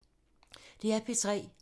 DR P3